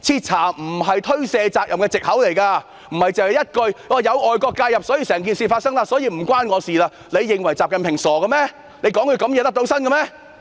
徹查並不是推卸責任的藉口，不是一句"有外國勢力介入導致事件發生"，便可以置身事外，你們認為習近平是傻的嗎？